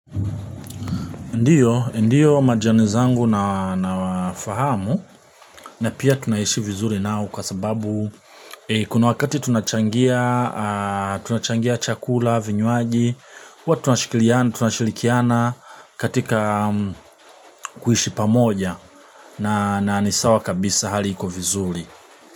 Ndiyo, ndiyo majani zangu na fahamu na pia tunaishi vizuri nao kwa sababu kuna wakati tunachangia chakula, vinywaji, huwa tunashikiliana, tunashilikiana katika kuishi pamoja na ni sawa kabisa hali iko vizuri.